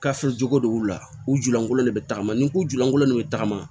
jogo de b'u la u julankolon de bɛ tagama ni u julankolon de bɛ tagama